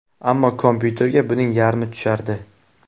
Ammo kompyuterga buning yarmi tushardi.